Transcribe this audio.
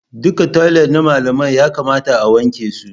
Duka toilet na malamai ya kamata a wanke su